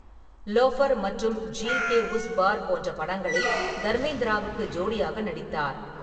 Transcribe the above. Loafer மற்றும் ஜீல் கே உஸ் பார் போன்ற படங்களில் தர்மேந்திராவுக்கு ஜோடியாக நடித்தார்.